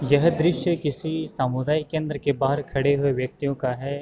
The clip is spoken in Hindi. यह दृश्य किसी सामुदायिक केंद्र के बाहर खड़े हुए व्यक्तियों का है।